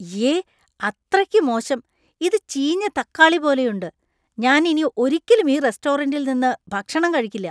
ഇയ്യേ! അത്രയ്ക്ക് മോശം! ഇത് ചീഞ്ഞ തക്കാളി പോലെയുണ്ട് , ഞാൻ ഇനി ഒരിക്കലും ഈ റെസ്റ്റോറന്‍റിൽ നിന്ന് ഭക്ഷണം കഴിക്കില്ല.